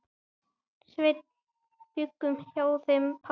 Sveinn bjuggum hjá þeim pabba.